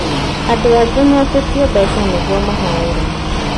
Andũ angĩ meetĩtio mbeca atĩ nĩguo mahoerwo